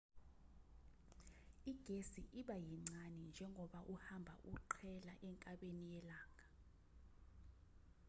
igesi iba yincane njengoba uhamba uqhela enkabeni yelanga